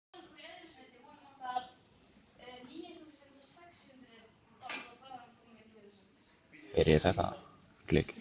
Guttormur Beinteinsson tekur ausuna í sína vörslu.